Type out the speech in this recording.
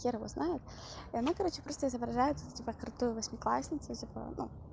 хер его знает и она короче просто изображает тут типа крутую восьмиклассницу типа ну